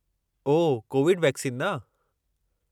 ओह, covid vaccine न?